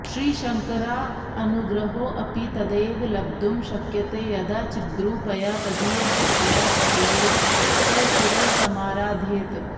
श्रीशङ्करानुग्रहोऽपि तदैव लब्धुं शक्यते यदा चिद्रूपया तदीयशक्त्या सहैव स शिवः समाराध्येत